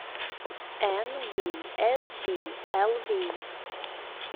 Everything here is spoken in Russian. энбиэспиэлви